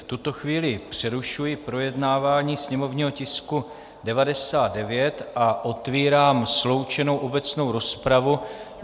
V tuto chvíli přerušuji projednávání sněmovního tisku 99 a otevírám sloučenou obecnou rozpravu.